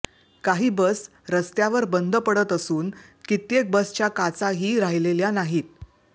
काही बस रस्त्यावर बंद पडत असून कित्येक बसच्या काचाही राहिलेल्या नाहीत